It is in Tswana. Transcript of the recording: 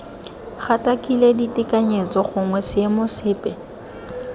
gatakakile ditekanyetso gongwe seemo sepe